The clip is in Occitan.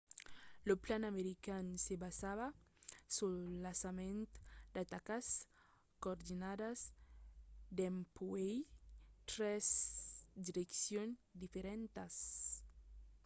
lo plan american se basava sul lançament d'atacas coordinadas dempuèi tres direccions diferentas